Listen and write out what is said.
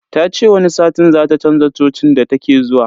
Ta ce wani satin zata chanza cocin da take zuwa.